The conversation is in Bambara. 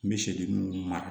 N bɛ segi n mara